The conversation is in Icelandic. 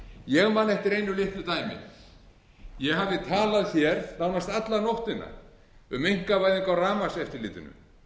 man eftir einu litlu dæmi ég hafði talað hér nánast alla nóttina um einkavæðingu á rafmagnseftirlitinu